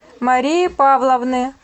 марии павловны